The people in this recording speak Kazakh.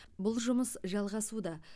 бұл жұмыс жалғасуда